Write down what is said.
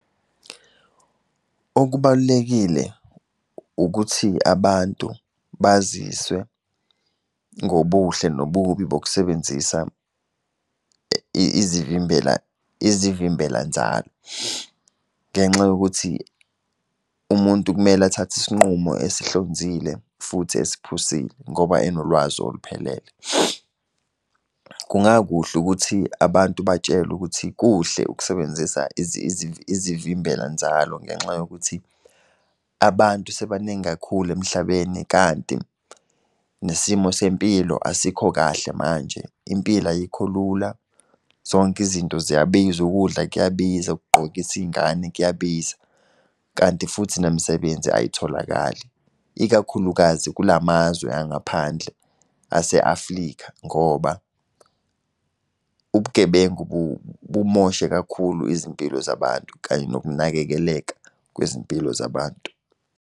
Okubalulekile ukuthi abantu baziswe ngobuhle nobubi bokusebenzisa izivimbela, izivimbela nzalo, ngenxa yokuthi umuntu kumele athathe isinqumo esihlonzile futhi esiphusile ngoba enolwazi oluphelele. Kungakuhle ukuthi abantu batshelwe ukuthi kuhle ukusebenzisa izimbela nzalo ngenxa yokuthi abantu sebebaningi kakhulu emhlabeni kanti nesimo sempilo asikho kahle manje, impilo ayikho lula, zonke izinto ziyabiza, ukudla kuyabiza, ukugqokisa iy'ngane kuyabiza. Kanti futhi nemisebenzi ayitholakali, ikakhulukazi kula mazwe angaphandle, ase-Afrika ngoba ubugebengu bumoshe kakhulu izimpilo zabantu kanye nokunakekeleka kwezimpilo zabantu.